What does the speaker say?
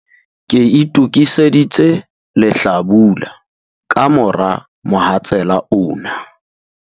Ke itokiseditse lehlabula ka mora mohatsela ona.